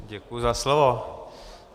Děkuji za slovo.